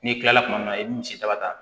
N'i kilala kuma min na i bi misi ta ka taa